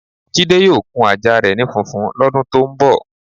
Jide yóò kun ajá re̩ ni funfun ló̩dun tó ń bò̩.